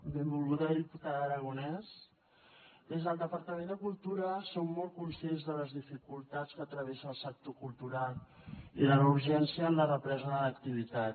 benvolguda diputada aragonès des del departament de cultura som molt conscients de les dificultats que travessa el sector cultural i de la urgència en la represa de l’activitat